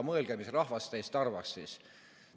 Mõelge, mis rahvast teist arvaks siis.